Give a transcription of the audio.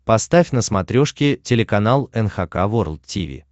поставь на смотрешке телеканал эн эйч кей волд ти ви